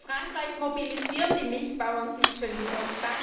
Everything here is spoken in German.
In Frankreich mobilisieren die Milchbauern sich schon wieder.